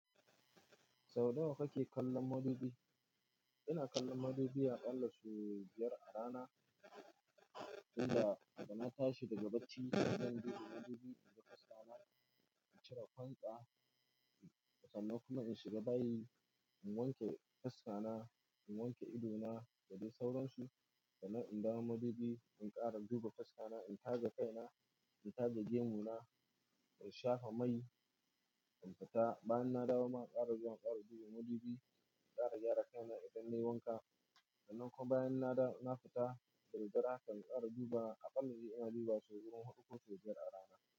Sau nawa kake kallon madubi? Ina kallon madubi a ƙalla sau biyar a rana, inda da na tashi daga bacci, ina duba madubi, ina ga fuskana, in cire gwansa, sannan kuma in shiga bayi, in wanke fuska na, in wanke idona da dai sauransu. Sannan in dawo madubi, in ƙara duba faska na, in taje kai na, in taje gemu na, in shafa mai, in fita. Bayan na dawo, ma ƙara zuwa ƙara duba madubi, ƙara gyara kai na idan nayi wanka. Sannan kuma bayan na fita, da dad dare haka in ƙara duba a kalla ina dubawa sau wurin huɗu ko sau biyar a rana.